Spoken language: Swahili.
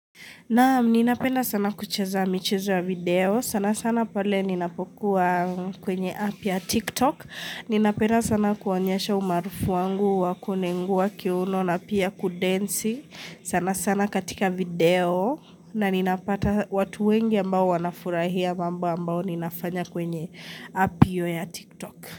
Naam, ninapenda sana kuchaza michezo ya video. Sana sana pale ninapokuwa kwenye app ya TikTok. Ninapenda sana kuonyesha umarufu wangu wakunengua kiuno na pia kudensi. Sana sana katika video na ninapata watu wengi ambao wanafurahia mamba ambao ninafanya kwenye app hiyo ya TikTok.